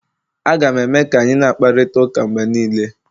Aga m eme ka anyị na-akparịta ụka mgbe niile